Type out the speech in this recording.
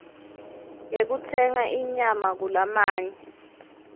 yekutsenga inyama kulamanye